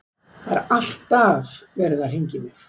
Það er alltaf verið að hringja í mig.